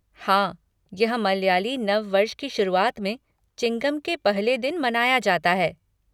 हाँ, यह मलयाली नव वर्ष की शुरुआत में, चिंगम के पहले दिन मनाया जाता है।